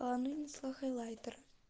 ну несла хайлайтер